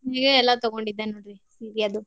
ಇಲ್ಲೇ ಎಲ್ಲಾ ತೂಗೋಂಡಿದ್ದೇ ನೋಡ್ರಿ ಸೀರಿ ಅದೂ.